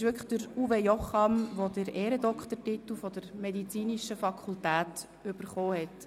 – Es war wirklich Uwe Jocham, der den Ehrendoktortitel der Medizinischen Fakultät erhielt.